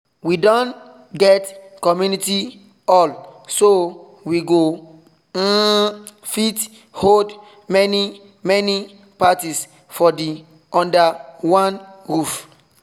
we don get community hall so we go um fit hold many many party for under one roof